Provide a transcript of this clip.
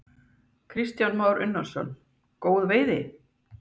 Kristján Már Unnarsson: Góð veiði?